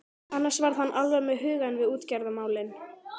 Annars var hann alveg með hugann við útgerðarmálin.